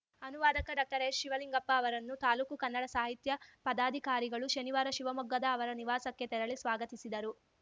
ಅನುವಾದಕ ಡಾಕ್ಟರ್ಎಚ್‌ಶಿವಲಿಂಗಪ್ಪ ಅವರನ್ನು ತಾಲೂಕು ಕನ್ನಡ ಸಾಹಿತ್ಯ ಪದಾಧಿಕಾರಿಗಳು ಶನಿವಾರ ಶಿವಮೊಗ್ಗದ ಅವರ ನಿವಾಸಕ್ಕೆ ತೆರಳಿ ಸ್ವಾಗತಿಸಿದರು